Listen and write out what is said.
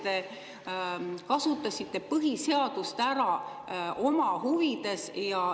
Te kasutasite põhiseadust ära oma huvides.